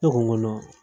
Ne ko n ko